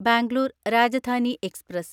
Bangalore Rajdhani express